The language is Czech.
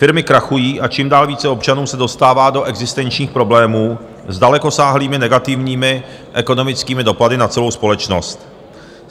Firmy krachují a čím dál více občanů se dostává do existenčních problémů s dalekosáhlými negativními ekonomickými dopady na celou společnost.